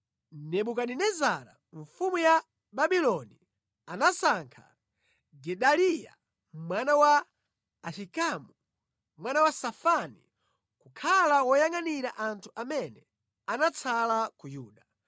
Nebukadinezara mfumu ya Babuloni anasankha Gedaliya mwana wa Ahikamu, mwana wa Safani, kukhala woyangʼanira anthu amene anatsala ku Yuda.